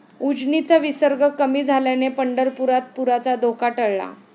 उजनीचा विसर्ग कमी झाल्याने पंढरपुरात पुराचा धोका टळला